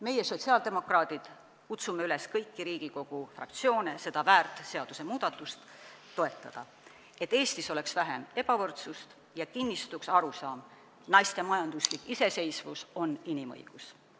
Meie, sotsiaaldemokraadid, kutsume kõiki Riigikogu fraktsioone üles seda väärt seadusmuudatust toetama, et Eestis oleks vähem ebavõrdsust ja kinnistuks arusaam, et naiste majanduslik iseseisvus on inimõigus.